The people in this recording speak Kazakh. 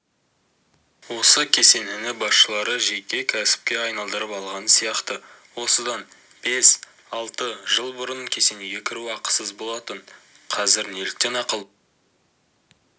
осы кесенені басшылары жеке кәсіпке айналдырып алған сияқты осыдан бес-алты жыл бұрын кесенеге кіру ақысыз болатын қазір неліктен ақылы